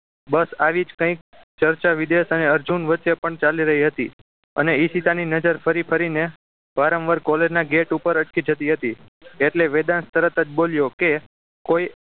બસ આવી જ કંઈક ચર્ચા વિદેશા અને અર્જુન વચ્ચે પણ ચાલી રહી હતી અને ઈશિતા ની નજર ફરી ફરીને વારંવાર college gate પર અટકી જતી હતી એટલે વેદાંત તરત જ બોલ્યો કે કોઈ